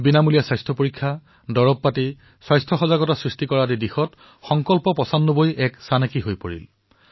বিনামূলীয়া পৰীক্ষণ বিনামূলীয়া দৰৱ যোগান অথবা সজাগতা প্ৰচাৰৰ ক্ষেত্ৰত সংকল্প পচানব্বৈয়ে সকলোৰে বাবে আদৰ্শ হৈ পৰিছে